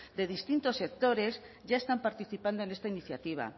de distintos sectores ya están participando en esta iniciativa